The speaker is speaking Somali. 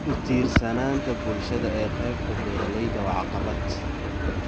Ku tiirsanaanta bulshada ee qaybta beeralayda waa caqabad.